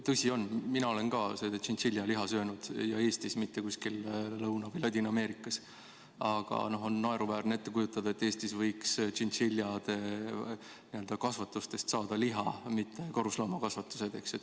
Tõsi on, mina olen ka seda tšintšiljaliha söönud, ja Eestis, mitte kusagil Lõuna- või Ladina-Ameerikas, aga on naeruväärne ette kujutada, et Eestis võiks tšintšiljade kasvatustest saada liha-, mitte karusloomakasvatused.